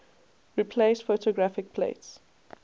replaced photographic plates